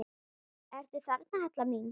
Ertu þarna, Halla mín?